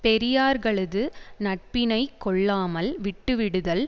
பெரியார்களது நட்பினை கொள்ளாமல் விட்டுவிடுதல்